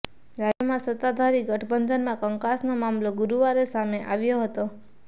રાજ્યમાં સત્તાધારી ગઠબંધનમાં કંકાસનો મામલો ગુરુવારે સામે આવ્યો હતો